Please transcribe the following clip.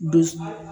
Dusu